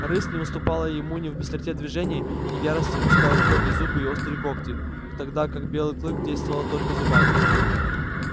рысь не уступала ему ни в быстроте движений ни в ярости и пускала в ход и зубы и острые когти тогда как белый клык действовал только зубами